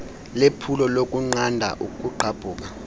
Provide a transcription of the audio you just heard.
lephulo lokunqanda ukugqabhuka